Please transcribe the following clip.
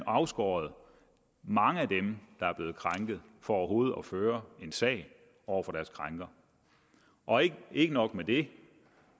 afskåret mange af dem der er blevet krænket fra overhovedet at føre en sag over for deres krænker og ikke ikke nok med det